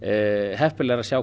heppilegra að sjá